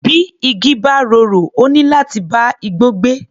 Bí igi bá rorò, ó níláti bá igbó gbé.